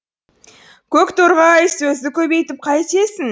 көк торғай сөзді көбейтіп қайтесің